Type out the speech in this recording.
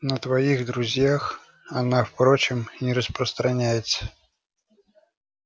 на твоих друзей она впрочем не распространяется